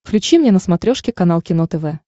включи мне на смотрешке канал кино тв